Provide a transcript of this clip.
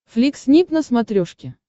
флик снип на смотрешке